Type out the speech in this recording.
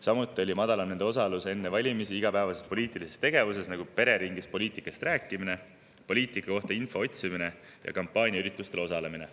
Samuti oli madalam nende osalus igapäevases poliitilises tegevuses enne valimisi, nagu pereringis poliitikast rääkimine, poliitika kohta info otsimine ja kampaaniaüritustel osalemine.